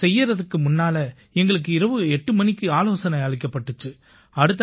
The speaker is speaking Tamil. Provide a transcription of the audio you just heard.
இதைச் செய்யறதுக்கு முன்னால எங்களுக்கு இரவு எட்டு மணிக்கு ஆலோசனை அளிக்கப்பட்டிச்சு